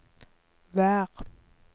vær